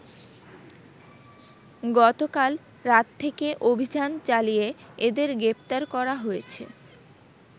গতকাল রাত থেকে অভিযান চালিয়ে এদের গ্রেপ্তার করা হয়েছে।